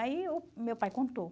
Aí o meu pai contou.